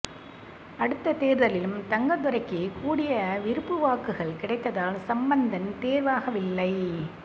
அடுத்த தேர்தலிலும் தங்கத்துரைக்கே கூடிய விருப்பு வாக்குகள் கிடைத்ததால் சம்பந்தன் தெரிவாகவில்லை